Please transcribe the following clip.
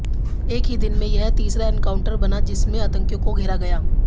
एक ही दिन में यह तीसरा एनकाउंटर बना जिसमें आतंकियों को घेरा गया